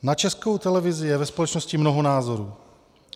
Na Českou televizi je ve společnosti mnoho názorů.